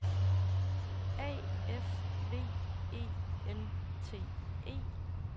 A F V E N T E